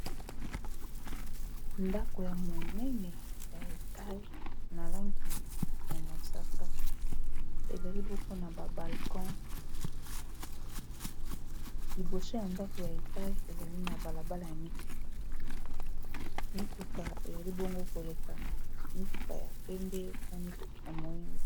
Ndako ya molayi oyo, eza lokola esika bato basalelaka musala ya administration ya mboka. Tozali pe komona mituka mingi na se, pe ba nzete na pembeni.